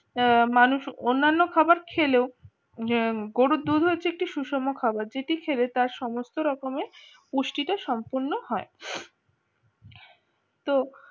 মানুষ অন্যান্য খাবার খেলেও যে গরুর দুধ হয়েছে একটু সুষম খাবার যেটি হিসেবে তার সমস্ত রকমের পুষ্টিটা সম্পূর্ণ হয়। তো